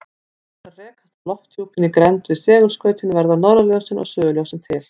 Þegar þær rekast á lofthjúpinn í grennd við segulskautin verða norðurljósin og suðurljósin til.